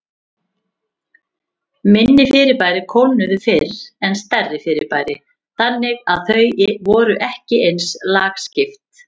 Minni fyrirbæri kólnuðu fyrr en stærri fyrirbæri, þannig að þau voru ekki eins lagskipt.